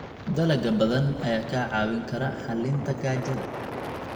Dalagga badan ayaa kaa caawin kara xallinta gaajada.